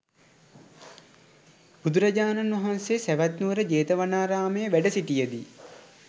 බුදුරජාණන් වහන්සේ සැවැත්නුවර ජේතවනාරාමයේ වැඩ සිටිය දී